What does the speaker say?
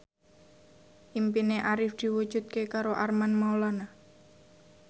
impine Arif diwujudke karo Armand Maulana